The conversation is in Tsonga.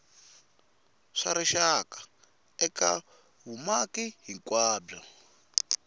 swa rixaka eka vumaki hinkwabyo